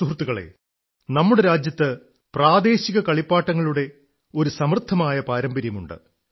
സുഹൃത്തുക്കളേ നമ്മുടെ രാജ്യത്ത് പ്രദേശിക കളിപ്പാട്ടങ്ങളുടെ ഒരു സമൃദ്ധമായ പാരമ്പര്യമുണ്ട്